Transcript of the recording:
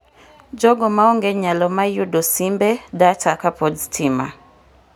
jogo maonge nyalo mayudo simbe, data kpod stima